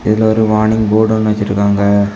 இதுல ஒரு warning board ஒன்னு வச்சிருக்காங்க.